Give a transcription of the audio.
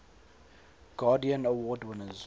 guardian award winners